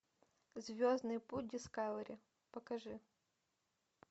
звездный путь дискавери покажи